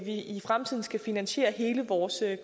i fremtiden skal finansiere hele vores